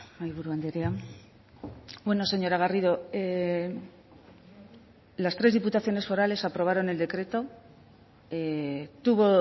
mahaiburu andrea bueno señora garrido las tres diputaciones forales aprobaron el decreto tuvo